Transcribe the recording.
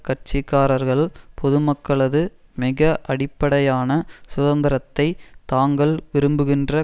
கட்சி காரர்கள் பொதுமக்களது மிக அடிப்படையான சுதந்திரத்தை தாங்கள் விரும்புகின்ற